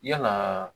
Yalaa